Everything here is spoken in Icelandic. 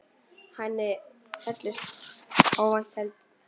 Henni féllust óvænt hendur.